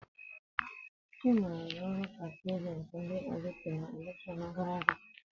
Chima rụrụ ọrụ ka paatị ajentị ndị LP na elekshon gara aga.